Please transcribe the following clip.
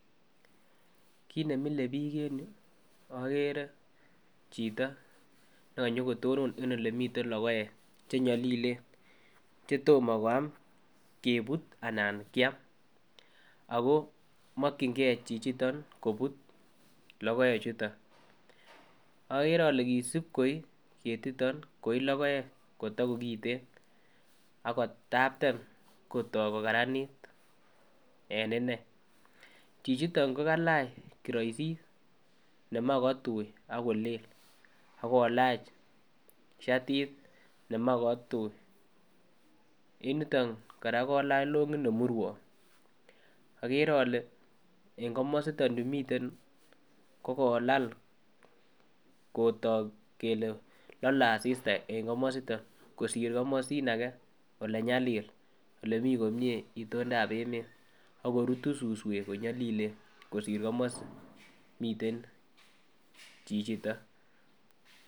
Kit nemile bik en yuu okere chito nekonyo kotonon en ole miten lokoek chenyolilen chetom koyam. Kebut anan kiam ako mokin gee chichiton kobut lokoek chuton. Okere ole kisib koi ketiton koi lokoek kotakokiten ako tapten kotok kokaranit en ine. Chichiton ko kalach koroisit nemoi kotui akolel akolach shartit nemoi kotui en yuton Koraa ko kailach longit nemurwon, okere ole en komositon miten kokolal kotok kele lole asiata en komositon kosir komosin age ole nyalil ole mii komie itoldap emet ak korutu suswek ko nyolilen kosir komosin miten chichiton.